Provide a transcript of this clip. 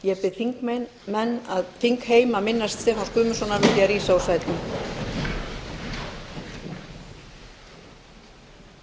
ég bið þingheim að minnast stefáns guðmundssonar með því að rísa úr sætum